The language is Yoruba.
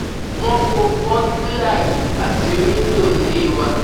wọ́n fọ́ bọ́gíálí àti wíńdò ilé wa